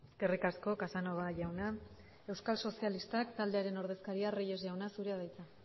eskerrik asko casanova jauna euskal sozialistak taldearen ordezkaria reyes jauna zurea da hitza